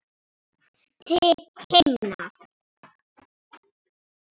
Til himna!